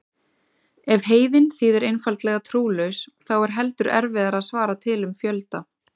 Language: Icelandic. Ef heiðinn þýðir einfaldlega trúlaus þá er heldur erfiðara að svara til um fjölda.